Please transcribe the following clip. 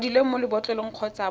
kwadilweng mo lebotlolong kgotsa mo